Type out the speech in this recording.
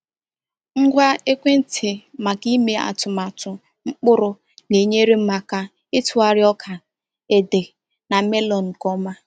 Ngwa ekwentị maka ime atụmatụ mkpụrụ na-enyere m aka ịtụgharị ọka, ẹda, na melon nke ọma.